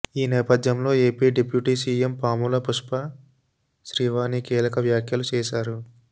ఈ నేపథ్యంలో AP deputy CM Pamula Pushpa Srivani కీలక వ్యాఖ్యలు చేశారు